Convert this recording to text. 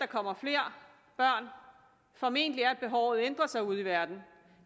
kommer flere børn formentlig er at behovet ændrer sig ude i verden